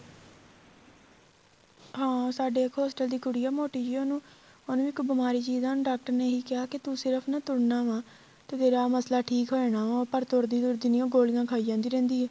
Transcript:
ਹਾਂ ਸਾਡੇ ਇੱਕ hostel ਦੀ ਕੁੜੀ ਆ ਮੋਟੀ ਜੀ ਉਹਨੂੰ ਉਹਨੂੰ ਇੱਕ ਬੀਮਾਰੀ ਸੀ ਜਿਹਦਾ ਹੁਣ ਡਾਕਟਰ ਨੇ ਇਹੀ ਕਿਹਾ ਤੂੰ ਸਿਰਫ਼ ਨਾ ਤੁਰਨਾ ਵਾ ਤੇਰਾਂ ਮੱਸਲਾ ਠੀਕ ਹੋ ਜਾਣਾ ਪਰ ਉਹ ਤੁਰਦੀ ਤੁਰਦੀ ਨਹੀਂ ਉਹ ਗੋਲੀਆਂ ਖਾਈ ਜਾਈ ਰਹਿੰਦੀ ਏ